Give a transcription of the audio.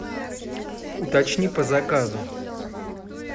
уточни по заказу